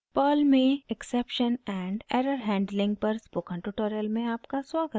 perl में exception and error handling पर spoken tutorial में आपका स्वागत है